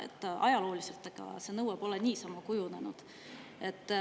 See nõue pole ajalooliselt niisama kujunenud.